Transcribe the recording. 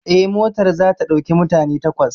Eh, motar za ta ɗauki mutane takwas